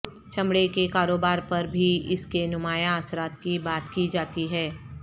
چمڑے کے کاروبار پر بھی اس کے نمایاں اثرات کی بات کی جاتی ہے